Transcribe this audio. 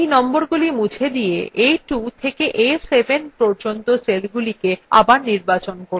এই নম্বরগুলি মুছে দিয়ে a2 থেকে a7 পর্যন্ত cellsগুলি আবার নির্বাচন করুন